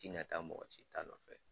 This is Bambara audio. Tina ta mɔgɔ si ta nɔfɛ